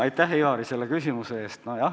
Aitäh, Ivari, selle küsimuse eest!